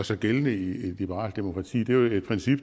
sig gældende i et liberalt demokrati er jo et princip